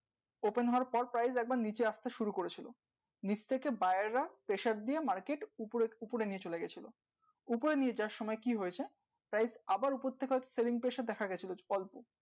open হবার পর price একবার নিচে আসতে শুরু করেছিল নিচ থেকে buyer রা pressure দিয়ে market উপরে উপরে নিয়ে চলে গেছিলো উপর নিয়ে যাওয়ার সময় কি হয়েছে price আবার উপর থেকে দেখা গেছিলো অল্প